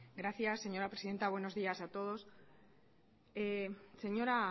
gracias señora presidenta buenos días a todos señora